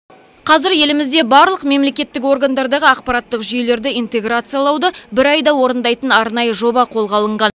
қазір елімізде барлық мемлекеттік органдардағы ақпараттық жүйелерді интеграциялауды бір айда орындайтын арнайы жоба қолға алынған